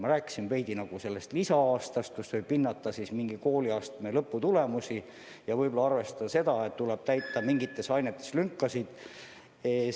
Ma rääkisin enne veidi sellest lisa-aastast, mille jooksul võib mingi kooliastme lõpetamise tulemusi hinnata ja võib-olla ka mingites ainetes lünkasid täita.